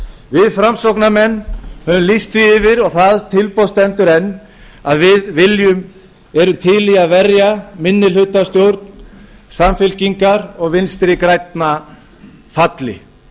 við framsóknarmenn höfum lýst því yfir og það tilboð stendur enn að við erum til í að verja minnihlutastjórn samfylkingar og vinstri grænna falli